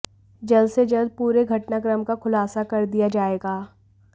जल्द से जल्द पूरे घटनाक्रम का खुलासा कर दिया जाएगा